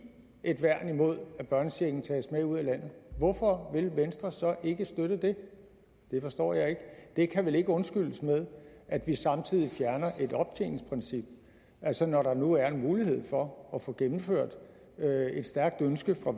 et værn imod at børnechecken tages med ud af landet hvorfor vil venstre så ikke støtte det det forstår jeg ikke det kan vel ikke undskyldes med at vi samtidig fjerner et optjeningsprincip altså når der nu er en mulighed for at få gennemført et stærkt ønske fra